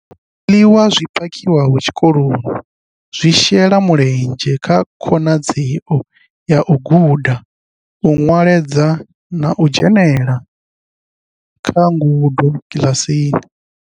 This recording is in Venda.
Zwiḽiwa zwi phakhiwaho tshikoloni zwi shela mulenzhe kha khonadzeo ya u guda, u nweledza na u dzhenela kha ngudo kiḽasini.